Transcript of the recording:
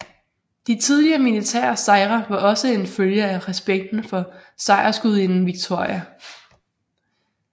De tidligere militære sejre var også en følge af respekten for sejrsgudinden Victoria